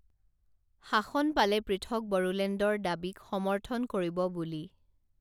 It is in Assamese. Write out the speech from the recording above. শাসন পালে পৃথক বড়োলেণ্ডৰ দাবীক সমৰ্থন কৰিব বুলি